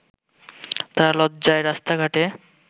তারা লজ্জায় রাস্তাঘাটে